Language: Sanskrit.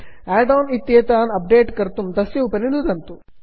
आड् आन् इत्येतान् अप्डेट् कर्तुं तस्य उपरि नुदन्तु